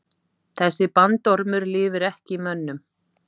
Þessi bandormur lifir ekki í mönnum.